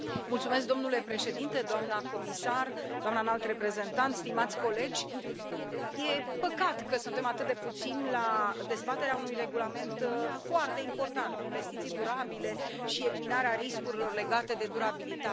Domnule președinte, doamna comisar, doamna Înalt Reprezentant, stimați colegi, e păcat că suntem atât de puțini la dezbaterea unui regulament foarte important investiții durabile și eliminarea riscurilor legate de durabilitate.